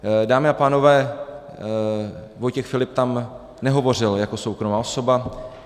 Dámy a pánové, Vojtěch Filip tam nehovořil jako soukromá osoba.